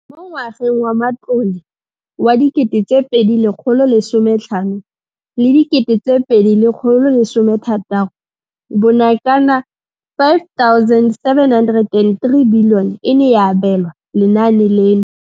Mo ngwageng wa matlole wa 2015 2016, bokanaka 5 703 bilione e ne ya abelwa lenaane leno.